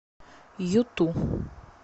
юту